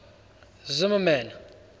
zimmermann